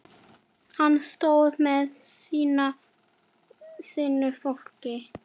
Hann stóð með sínu fólki.